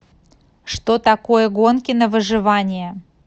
что такое гонки на выживание